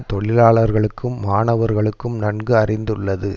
தொழிலாளர்களுக்கும் மாணவர்களுக்கும் நன்கு அறிந்துள்ளது